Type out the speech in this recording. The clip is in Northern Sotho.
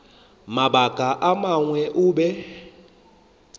mabaka a mangwe o be